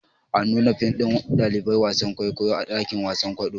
An nuna fim ɗin ɗaliban wasan kwaikwayo a dakin wasan kwaɗo